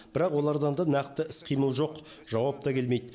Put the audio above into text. бірақ олардан да нақты іс қимыл жоқ жауап та келмейді